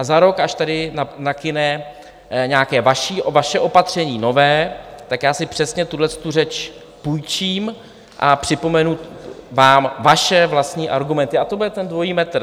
A za rok, až tady nakyne nějaké vaše opatření nové, tak já si přesně tuhletu řeč půjčím a připomenu vám vaše vlastní argumenty a to bude ten dvojí metr.